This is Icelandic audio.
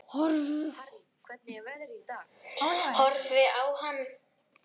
Frá hvaða bæjarfélagi er landsliðsmaðurinn Heiðar Helguson?